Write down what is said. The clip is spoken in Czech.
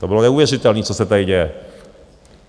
To bylo neuvěřitelný, co se tady děje.